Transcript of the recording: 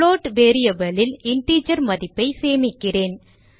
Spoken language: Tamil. புளோட் variable ல் இன்டிஜர் மதிப்பை சேமிக்கிறேன்